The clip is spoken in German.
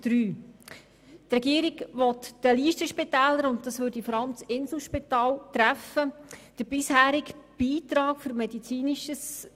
Die Regierung will den Listenspitälern den bisherigen Beitrag Innovationen von 3 Mio. Franken streichen.